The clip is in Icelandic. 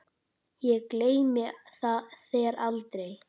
Ég gleymi þér aldrei.